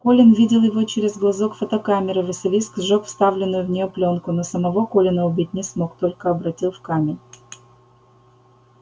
колин видел его через глазок фотокамеры василиск сжёг вставленную в неё плёнку но самого колина убить не смог только обратил в камень